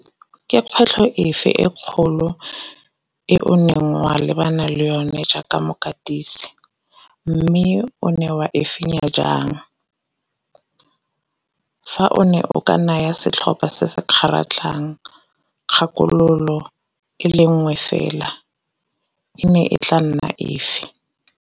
Ke kgwetlho efe kgolo e o neng wa lebana le yone jaaka mokatisi, mme o ne wa e fenya jang? Fa o ne o ka naya setlhopha se se kgaratlhang kgakololo e le nngwe fela e ne e tla nna efe?